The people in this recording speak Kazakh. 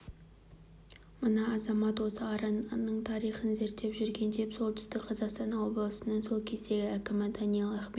мына азамат осы араның тарихын зерттеп жүрген деп солтүстік қазақстан облысының сол кездегі әкімі даниал ахметов